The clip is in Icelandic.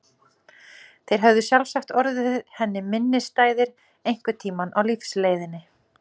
Þeir höfðu sjálfsagt orðið henni minnisstæðir einhvern tíma á lífsleiðinni.